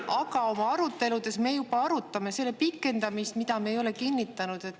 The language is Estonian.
Aga oma aruteludes me juba arutame selle pikendamist, mida me ei ole kinnitanud.